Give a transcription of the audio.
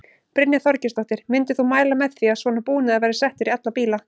Brynja Þorgeirsdóttir: Myndir þú mæla með því að svona búnaður væri settur í alla bíla?